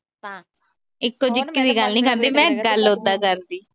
ਇਕੋ ਜਿਕੀ ਦੀ ਗੱਲ ਨੀ ਕਰਦੀ ਮੈਂ, ਗੱਲ ਉਦਾਂ ਕਰਦੀ।